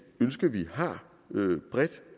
ønske vi har bredt